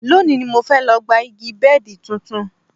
Lónìí ni mo fẹ́ lọ gba gba igi bẹ́ẹ̀dì tuntun